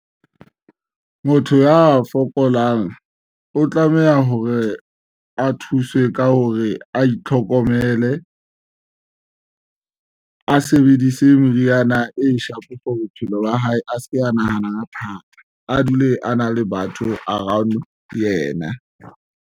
Motho ya fokolang o tlameha hore a thuswe ka hore a itlhokomele, a sebedise meriana e sharp for bophelo ba hae, a se ke a nahanang a thata, a dule a na le batho around yena.